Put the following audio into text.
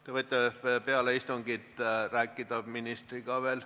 Te võite peale istungit veel ministriga rääkida.